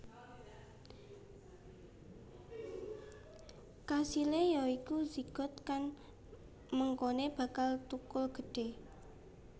Kasilé ya iku zigot kang mengkoné bakal thukul gedhé